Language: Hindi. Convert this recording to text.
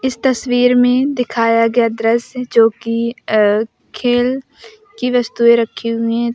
इस तस्वीर में दिखाया गया दृश्य जो कि खेल की वस्तुएं रखी हुई है।